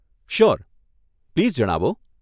Sure, please જણાવો.